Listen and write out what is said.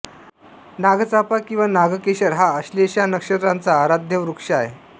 नागचाफा किंवा नागकेशर हा आश्लेषा नक्षत्राचा आराध्यवृक्ष आहे